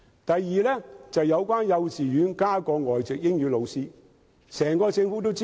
第二是在幼稚園增聘外籍英語老師。